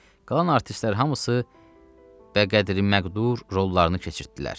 Qalan artistlər hamısı bəqədri məqdur rollarını keçirtdilər.